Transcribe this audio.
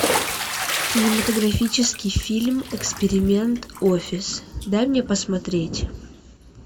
кинематографический фильм эксперимент офис дай мне посмотреть